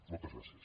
moltes gràcies